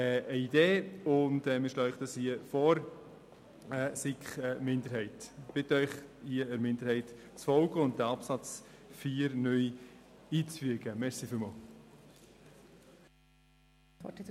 Ich bitte Sie, der SiK-Minderheit zu folgen, sodass wir den Absatz 4 (neu) ins Gesetz einfügen können.